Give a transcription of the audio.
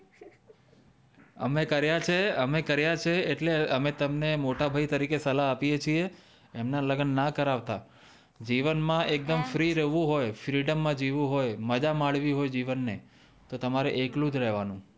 અમે કરિયા છે અમે કરિયા છે એટલે અમે તમને મોટા ભાઈ તરીકે સલાહ આપીયે છીએ એમના લગન ના કરાવતા જીવન માં એક દમ ફ્રી રેવું હોય ફ્રીડમ માં જીવવું હોય મા જા માનવી હોય જીવન ને તો તમારે એકલું જ રેવાનું